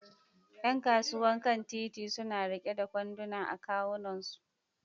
Yan kasuwan kan titi suna riƙe da kwanduna a kawunansu